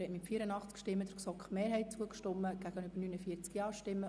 Sie haben dem Antrag der GSoK-Mehrheit zugestimmt.